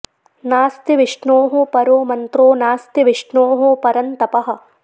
नास्ति विष्णोः परो मन्त्रो नास्ति विष्णोः परं तपः